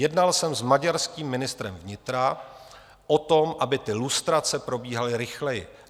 Jednal jsem s maďarským ministrem vnitra o tom, aby ty lustrace probíhaly rychleji.